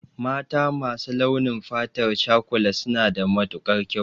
Mata masu launin fatar cakula suna da matukar kyau